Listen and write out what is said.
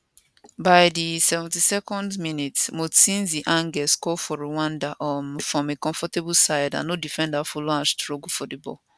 by di 72nd minutes mutsinzi ange score for rwanda um from a comfortable side and no defender follow am struggle for di ball